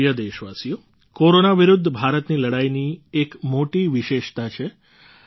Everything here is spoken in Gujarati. મારા પ્રિય દેશવાસીઓ કોરોના વિરુદ્ધ ભારતની લડાઈની એક મોટી વિશેષતા છે